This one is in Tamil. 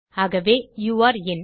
ஆகவே யூரே இன்